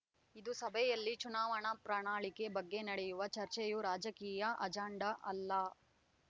ಇಂದು ಸಭೆಯಲ್ಲಿ ಚುನಾವಣಾ ಪ್ರಣಾಳಿಕೆ ಬಗ್ಗೆ ನಡೆಯುವ ಚರ್ಚೆಯೂ ರಾಜಕೀಯ ಅಜಾಂಡ ಅಲ್ಲ